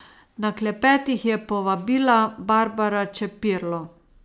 Na klepet jih je povabila Barbara Čepirlo.